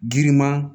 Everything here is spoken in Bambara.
Girinma